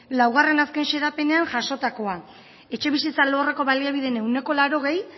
laugarren azken xedapenean jasotakoa etxebizitza alorreko baliabideen ehuneko laurogei